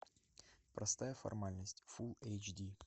простая формальность фулл эйч ди